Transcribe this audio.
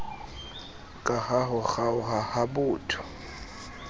kaha ho kgaoha ha botho